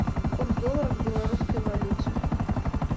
курс доллара к белорусской валюте